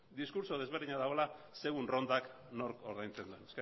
diskurtso desberdina dagoela segun errondak nork ordaintzen duen